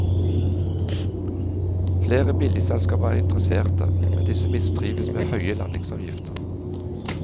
Flere billigselskaper er interesserte, men disse mistrives med høye landingsavgifter.